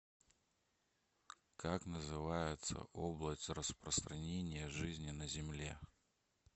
как называется область распространения жизни на земле